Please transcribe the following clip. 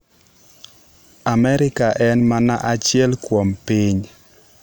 Amerka en mana achiel kuom piny."